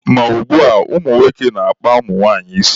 Ma ugbua, nwoke na-akpa nwaanyị isi